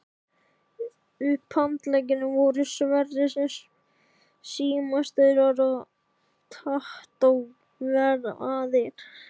Upphandleggirnir voru sverir sem símastaurar og tattóveraðir.